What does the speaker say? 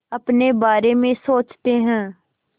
अपने बारे में सोचते हैं